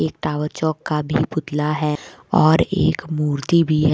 एक टावर चौक का भी पुतला है और एक मूर्ति भी है।